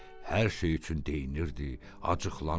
Hər şey üçün deyinirdi, acıqlanırdı.